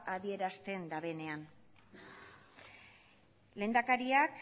adierazten duenean lehendakariak